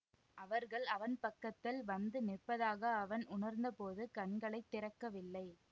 அவர்கள் அவன் பக்கத்தில் வந்து நிற்பதாக அவன் உணர்ந்தபோது கண்களை திறக்கவில்லை